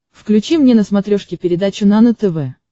включи мне на смотрешке передачу нано тв